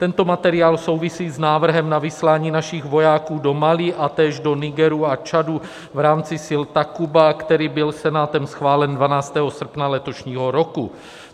Tento materiál souvisí s návrhem na vyslání našich vojáků do Mali a též do Nigeru a Čadu v rámci sil Takuba, který byl Senátem schválen 12. srpna letošního roku.